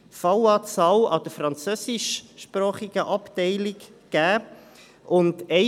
An der französischsprachigen Abteilung nahm die Anzahl Fälle zu.